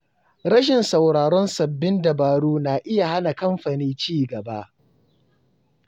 Rashin sauraron sabbin dabaru na iya hana kamfani ci gaba.